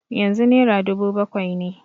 Yanzu naira dubu bakwai ne.